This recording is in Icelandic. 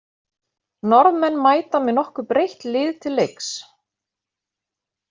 Norðmenn mæta með nokkuð breytt lið til leiks.